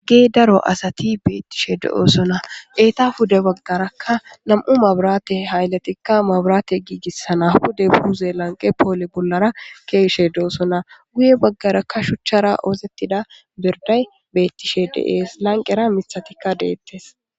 gee daro asati beettishe de7oosona eeta huda baggarakka nam7u maburate haylatikka maburaate giigissana huda buu zeelanqe poole bollara keeshe de7osona guye baggarakka shuchchara oosettida birday beettishe de7es lanqera mithatikka deettes